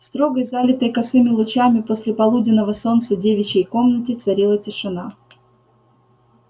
в строгой залитой косыми лучами послеполуденного солнца в девичьей комнате царила тишина